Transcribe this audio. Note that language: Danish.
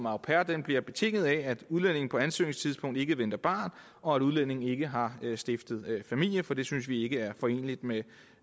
au pair bliver betinget af at udlændingen på ansøgningstidspunktet ikke venter barn og at udlændingen ikke har stiftet familie for det synes vi ikke er foreneligt med